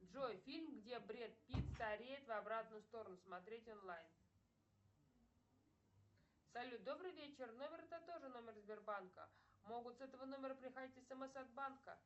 джой фильм где бред питт стареет в обратную сторону смотреть онлайн салют добрый вечер номер это тоже номер сбербанка могут с этого номера приходить смс от банка